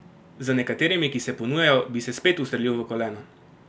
Z nekaterimi, ki se ponujajo, bi se spet ustrelil v koleno!